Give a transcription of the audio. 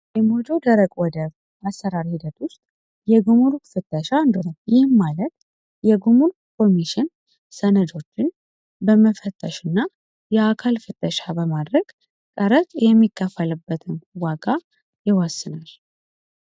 የሞጆ ደረቅ ወደብ አሰራር ሂደት ውስጥ የጉሙሩክ ፍተሻ አንዱ ነው። ይህም ማለት የጉሙሩክ ኮሚሽን ሰነዶችን በመፈተሽ እና የአካል ፍተሻው በማድረግ ቀረጥ የሚከፈልበትን ዋጋ ይወስናል።